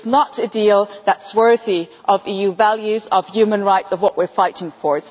It is not a deal that is worthy of EU values, of human rights and of what we are fighting for.